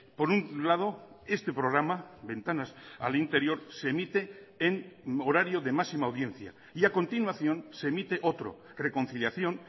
por un lado este programa ventanas al interior se emite en horario de máxima audiencia y a continuación se emite otro reconciliación